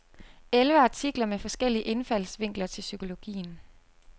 Elleve artikler med forskellige indfaldsvinkler til psykologien.